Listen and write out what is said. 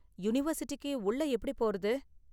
யூனிவர்சிட்டிக்கு உள்ள எப்படி போறது?